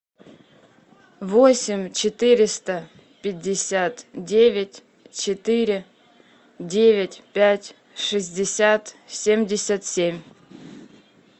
восемь четыреста пятьдесят девять четыре девять пять шестьдесят семьдесят семь